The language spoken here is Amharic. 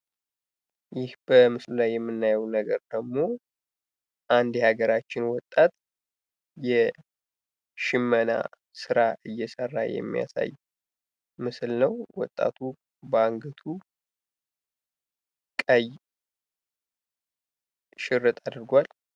ይህ በምስሉ ላይ የምናየው ደግሞ አንድ የሀገራችን ወጣት የሽመና ስራ እየሰራ የማያሳይ ምስል ነው። ወጣቱ በአንገቱ ቀይ ሽርጥ አድርጓል።